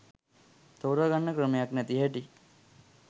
තෝරගන්න ක්‍රමයක් නැති හැටි.